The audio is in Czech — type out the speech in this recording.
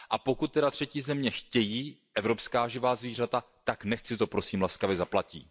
Pokud třetí země chtějí evropská živá zvířata, tak nechť si to, prosím, laskavě zaplatí.